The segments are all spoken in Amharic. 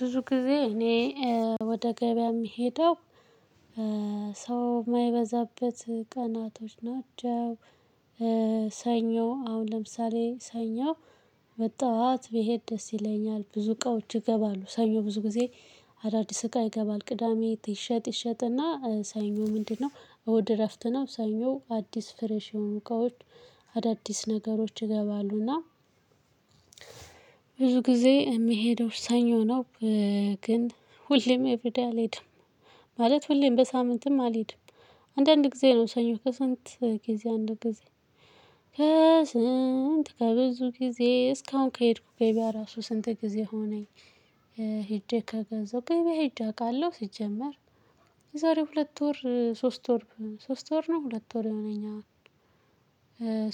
ብዙ ጊዜ እኔ ወደ ገበያ የምሄደው ሰው ማይበዛበት ቀናቶች ናቸው። ሰኞ አሁን ለምሳሌ ሰኞ በጧት ብሄድ ደስ ይለኛል። ብዙ እቃዎች ይገባሉ ሰኞ ብዙ ጊዜ። አዳዲስ እቃ ይገባል ቅዳሜ ይሸጥ ይሸጥና ሰኞ ምንድነው እሁድ እረፍት ነው ሰኞ አዲስ ፍሬሽ የሆኑ እቃዎች አዳዲስ ነገሮች ይገባሉና። ብዙ ጊዜ የምሄደው ሰኞ ነው። ግን ሁሌም ኤቭሪደይ አልሄድም። ማለት ሁሌም በሳምንትም አልሄድም። አንዳንድ ጊዜ ነው ሰኞ ከስንት ጊዜ አንድ ጊዜ። ከስንት ከብዙ ጊዜ እስካሁን ከሄድኩ ገበያ ራሱ ስንት ጊዜ ሆነኝ። ሄጄ ከገዛሁ ገበያ ሄጄ አውቃለሁ። ሲጀመር የዛሬ ሁለት ወር ሶስት ወር ሶስት ወር ነው ሁለት ወር የሆነኛ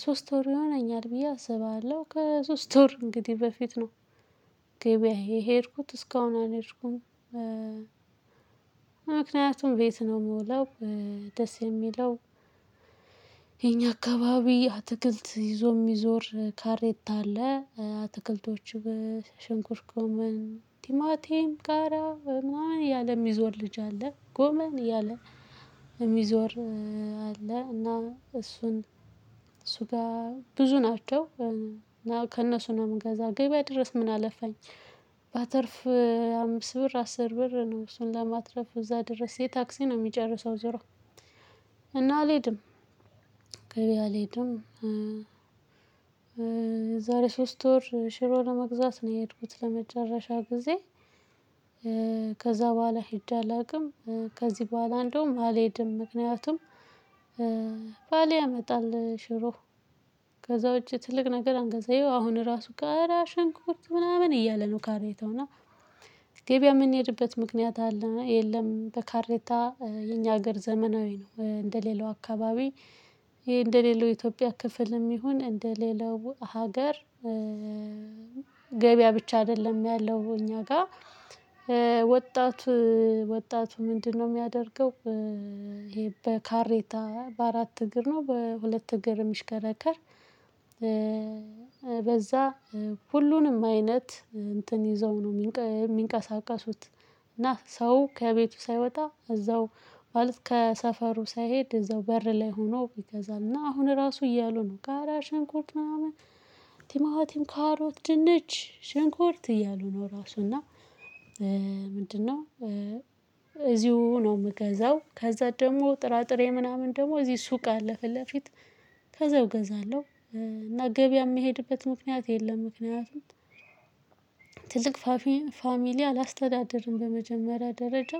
ሶስት ወር ይሆነኛል ብዬ አስባለሁ ከሶስት ወር እንግዲህ በፊት ነው። ገበያ የሄድኩት እስካሁን አልሄድኩም። ምክንያቱም ቤት ነው የምውለው ደስ የሚለው። የኛ አካባቢ አትክልት ይዞ የሚዞር ካሬታ አለ። አትክልቶቹ ሽንኩርተ ጎመን ቲማቲም ቃሪያ ምናምን እያለ ሚዞር ልጅ አለ። ጎመን እያለ የሚዞር አለ። እና እርሱን ጋር ብዙ ናቸው። ከእነሱ ነው የምገዛው ገበያ ድረስ ምን አለፋኝ? ባተርፍ አምስት ብር አስር ብር ነው እሱን ለማትረፍ እዛ ድረስ የታክሲ ነው የሚጨርሰው። ዞሮ እና አልሄድም። ገበያ አልሄድም። የዛሬ ሶስት ወር ሽሮ ለመግዛት ነው የሄድኩት ለመጨረሻ ጊዜ። ከዛ በኋላ ሄጄ አላውቅም። ከዚህ በኋላ እንደውም አልሄድም ምክንያቱም ባሌ ያመጣል ሽሮ። ከዛ ውጪ ትልቅ ነገር አንገዛም ይኸው አሁን ራሱ ጋር ሽንኩርት ምናምን እያለ ነው። ካሬታው እና ገበያ የምንሄድበት ምክንያት የለም። በካሬታ የኛ ሀገር ዘመናዊ ነው እንደሌላው አካባቢ። እንደሌላው ኢትዮጵያ ክፍልም ይሁን እንደሌላው ሀገር። ገበያ ብቻ አይደለም ያለው እኛ ጋር። ወጣቱ ወጣቱ ምንድነው? የሚያደርገው ይሄ በካሬታ በአራት እግር ነው በሁለት እግር የሚሽከረከር። በዛ ሁሉንም አይነት እንትን ይዘው ነው የሚንቀሳቀሱት። እና ሰው ከቤቱ ሳይወጣ እዛው ማለት ከሰፈሩ ሳይሄድ እዛው በር ላይ ሆኖ ይገዛልና። አሁን ራሱ እያሉ ነው ቃሪያ ሽንኩርት ምናምን ቲማቲም ካሮት ድንች ሽንኩርት እያሉ ነው። ራሱ እና ምንድነው? እዚው ነው የምገዛው። ከዛ ደግሞ ጥራጥሬ ምናምን ደግሞ እዚህ ሱቅ አለፈ ፊት ለፊት። ከዛ እገዛለሁ። እና ገበያ የምሄድበት ምክንያት የለም። ምክንያቱም ትልቅ ፋሚሊ አላስተዳደርም በመጀመሪያ ደረጃ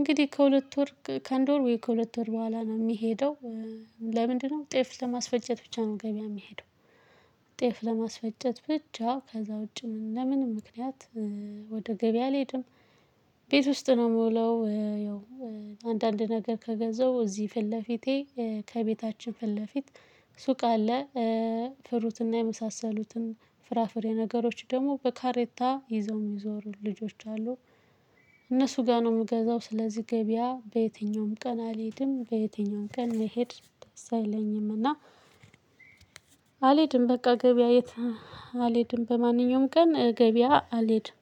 እንግዲህ ከሁለት ወር ከአንድ ወር ወይ ከሁለት ወር በኋላ ነው የሚሄደው። ለምንድነው? ጤፍ ለማስፈጨት ብቻ ነው ገበያ የሚሄደው። ጤፍ ለማስፈጨት ብቻ ከዛ ውጪ ለምንም ምክንያት ወደ ገበያ አልሄድም። ቤት ውስጥ ነው የምውለው። ያው አንዳንድ ነገር ከገዛው እዚህ ፊት ለፊቴ ከቤታችን ፊት ለፊት ሱቅ አለ። ፍሩትና የመሳሰሉትን ፍራፍሬ ነገሮች ደግሞ በካሬታ ይዘው የሚዞሩ ልጆች አሉ። እነርሱ ጋር ነው የምገዛው ስለዚህ ገበያ በየትኛውም ቀን አልሄድም። በየትኛውም ቀን ልሄድ ደስ አይለኝም። እና አልሄድም በቃ ገበያ የት አልሄድም በማንኛውም ቀን ገበያ አልሄድም